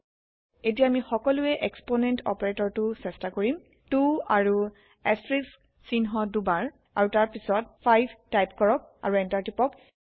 এটিয়া আমি সকলোয়ে এক্সপোনেণ্ট অপাৰেটৰটো চেয্টা কৰিম 2 আৰু এষ্টাৰিস্ক সিহ্ণ দুবাৰ আৰু তাৰপিছত 5 টাইপ কৰক আৰু Enter টিপক